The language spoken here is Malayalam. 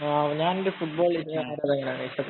ഞാനെന്‍റെ ഫുട്ബോള്‍